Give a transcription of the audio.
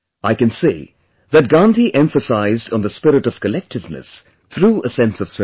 I can say that Gandhi emphasized on the spirit of collectiveness through a sense of service